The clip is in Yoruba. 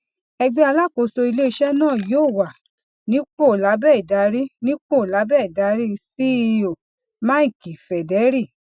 ẹgbẹ alákòóso iléiṣẹ náà yóò wà nípò lábẹ ìdarí nípò lábẹ ìdarí ceo mike federle